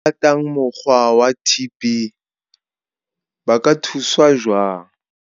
Balemi ba ratang mokgwa wa TP ba ka thuswa jwang?